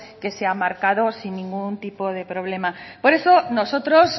que se ha marcado sin ningún tipo de problema por eso nosotros